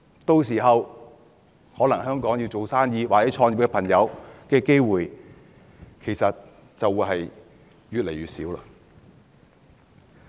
屆時，有意在香港做生意或創業的朋友的機會便越來越少。